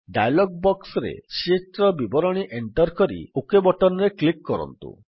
dialog ବକ୍ସରେ sheet ର ବିବରଣୀ ଏଣ୍ଟର୍ କରି ଓକ୍ ବଟନ୍ ରେ କ୍ଲିକ୍ କରନ୍ତୁ